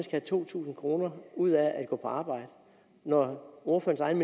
have to tusind kroner ud af at gå på arbejde når ordførerens